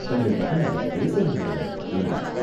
"தங்கள் மகனால் பேச முடியாதா?" என்றான்.